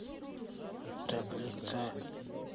таблица